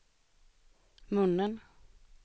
munnen